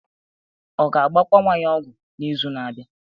Ọ ga-agbakwa nwa ya ọgwụ n'izu na-abịa?